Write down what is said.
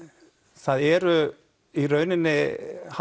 það eru í rauninni